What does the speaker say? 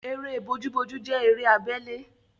Eré bojúbojú jẹ́ eré abele